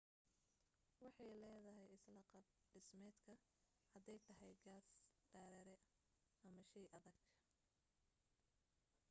waxay leedahay isla qaab dhismeedka haday tahay gas dareere ama shey adag